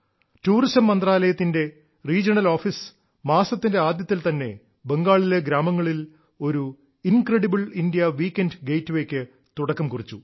tourism മന്ത്രാലയത്തിന്റെ regional office മാസത്തിന്റെ ആദ്യത്തിൽ തന്നെ ബംഗാളിലെ ഗ്രാമങ്ങളിൽ ഒരു കിരൃലറശയഹല കിറശമ ണലലസലിറ ഏമലേംമ്യ ക്ക് തുടക്കം കുറിച്ചു